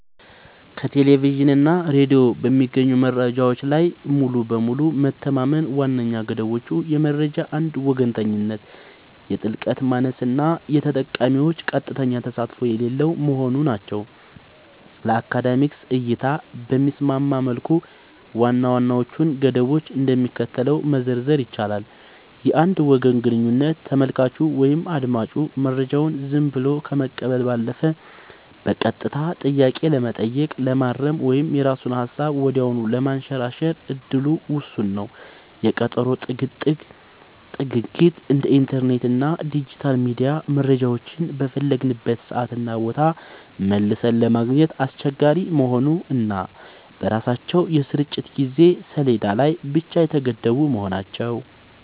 ከቴሌቪዥን እና ሬዲዮ በሚገኙ መረጃዎች ላይ ሙሉ በሙሉ መተማመን ዋነኛ ገደቦቹ የመረጃ አንድ ወገንተኝነት፣ የጥልቀት ማነስ እና የተጠቃሚዎች ቀጥተኛ ተሳትፎ የሌለው መሆኑ ናቸው። ለአካዳሚክ እይታ በሚስማማ መልኩ ዋና ዋናዎቹን ገደቦች እንደሚከተለው መዘርዘር ይቻላል፦ የአንድ ወገን ግንኙነት : ተመልካቹ ወይም አዳማጩ መረጃውን ዝም ብሎ ከመቀበል ባለፈ በቀጥታ ጥያቄ ለመጠየቅ፣ ለማረም ወይም የራሱን ሃሳብ ወዲያውኑ ለማንሸራሸር እድሉ ውስን ነው። የቀጠሮ ጥግግት : እንደ ኢንተርኔት እና ዲጂታል ሚዲያ መረጃዎችን በፈለግንበት ሰዓትና ቦታ መልሰን ለማግኘት አስቸጋሪ መሆኑ እና በራሳቸው የስርጭት የጊዜ ሰሌዳ ላይ ብቻ የተገደቡ መሆናቸው።